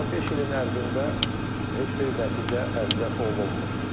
Amma beş ilin ərzində heç bir nəticə əldə olunmayıb.